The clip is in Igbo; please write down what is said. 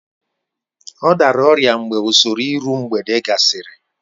Ọ dara ọrịa mgbe usoro iru mgbede gasịrị